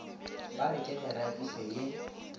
ba re ke meratišo ye